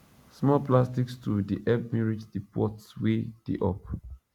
small plastic stool dey help me reach di pots wey dey up